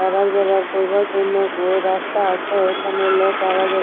আবার যাবার করবার জন্য গো রাস্তা আছে ওইখানে লোক আওয়া যাওয়া--